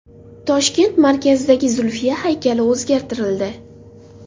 Toshkent markazidagi Zulfiya haykali o‘zgartirildi.